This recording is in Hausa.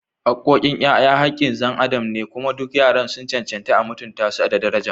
Haqqoqin ‘ya’ya haqqin xan adam ne, kuma duk yaran sun cancanci a mutunta su da daraja.